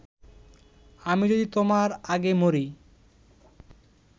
আমি যদি তোমার আগে মরি